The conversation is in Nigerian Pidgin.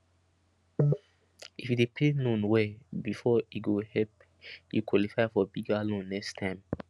if you dey pay loan well before e go help you qualify for bigger loan next time